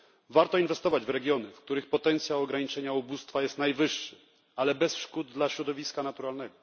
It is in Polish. Warto inwestować w regiony, w których potencjał ograniczenia ubóstwa jest najwyższy, ale bez szkód dla środowiska naturalnego.